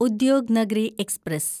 Udyognagari express